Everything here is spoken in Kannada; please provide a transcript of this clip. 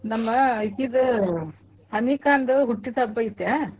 ನಮ್ಮಾ ಇಕಿದು ಅನಿಕಾಂದು ಹುಟ್ಟಿದ್ ಹಬ್ಬಾ ಐತ್ಯಾ.